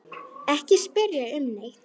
Ekki spyrja um neitt.